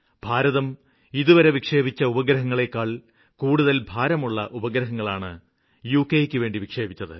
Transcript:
ഭാരതം ഇതുവരെ വിക്ഷേപിച്ച ഉപഗ്രഹങ്ങളില് ഏറ്റവും കൂടുതല് ഭാരമേറിയ ഉപഗ്രഹങ്ങളാണ് ഡഗയ്ക്കുവേണ്ടി വിക്ഷേപിച്ചത്